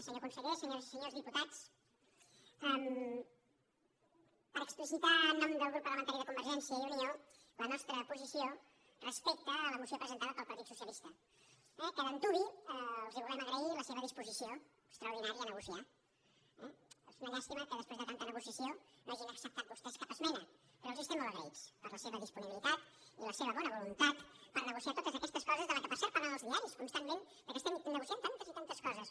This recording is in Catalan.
senyor conseller senyo·res i senyors diputats per explicitar en nom del grup parlamentari de convergència i unió la nostra posi·ció respecte a la moció presentada pel partit socia·lista que d’antuvi els volem agrair la seva disposició extraordinària a negociar eh és una llàstima que després de tanta negociació no hagin acceptat vostès cap esmena però els estem molt agraïts per la seva disponibilitat i la seva bona voluntat per negociar totes aquestes coses de les quals per cert parlen els diaris constantment que estem negociant tantes i tantes co·ses